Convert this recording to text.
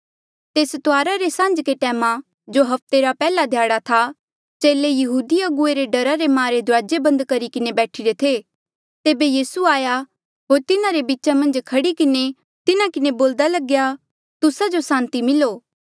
तेस तुआरा रे सांझ्के टैमा जो हफ्ते रा पैहला ध्याड़ा था चेले यहूदी अगुवे रे डरा रे मारे दुराजे बंद करी किन्हें बैठीरे थे तेबे यीसू आया होर तिन्हारे बीचा मन्झ खड़ी किन्हें तिन्हा किन्हें बोल्दा लग्या तुस्सा जो सांति मिलो